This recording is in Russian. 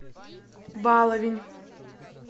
баловень